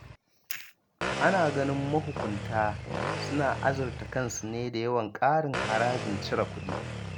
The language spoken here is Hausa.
Ana ganin mahukunta suna arzurta kansu ne da yawan ƙarin harajin cire kuɗi.